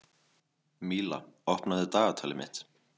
Míla, opnaðu dagatalið mitt.